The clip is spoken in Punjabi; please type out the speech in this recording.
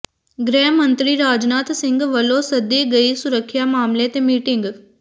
ਗ੍ਰਹਿ ਮੰਤਰੀ ਰਾਜਨਾਥ ਸਿੰਘ ਵੱਲੋਂ ਸੱਦੀ ਗਈ ਸੁਰੱਖਿਆ ਮਾਮਲੇ ਤੇ ਮੀਟਿੰਗ